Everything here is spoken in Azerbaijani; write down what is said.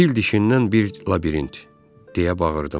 Fil dişindən bir labirint, deyə bağırdım.